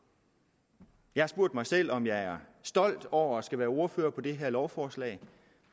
jeg har spurgt mig selv om jeg er stolt over at være ordfører på det her lovforslag